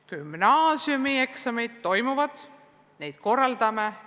Gümnaasiumi lõpueksamid toimuvad, neid me korraldame.